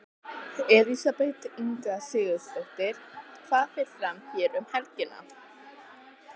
Elísabet Inga Sigurðardóttir: Hvað fer fram hér um helgina?